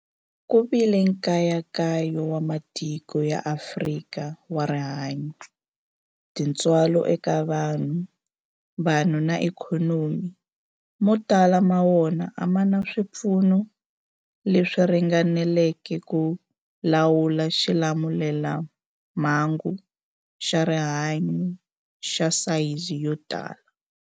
Ku vile nkayakayo wa matiko ya Afrika wa rihanyu, tintswalo eka vanhu, vanhu na ikhonomi, mo tala ma wona a ma na swipfuno leswi ringaneleke ku lawula xilamulelamhangu xa rihanyu xa sayizi yo tani.